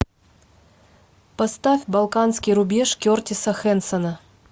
поставь балканский рубеж кертиса хэнсона